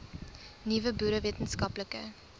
nuwe boere wetenskaplike